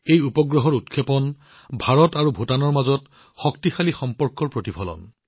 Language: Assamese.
এই উপগ্ৰহৰ উৎক্ষেপণ হৈছে শক্তিশালী ইণ্ডোভূটান সম্পৰ্কৰ প্ৰতিফলন